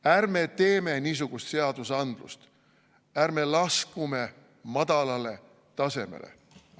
Ärme teeme niisugust seadusandlust, ärme laskume madalale tasemele!